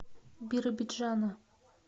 биробиджана